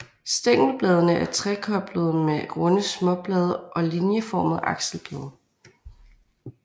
Stængelbladene er trekoblede med runde småblade og linieformede akselblade